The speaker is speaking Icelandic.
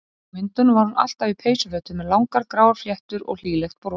Á myndunum var hún alltaf í peysufötum með langar gráar fléttur og hlýlegt bros.